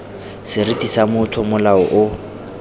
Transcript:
seriti sa motho molao o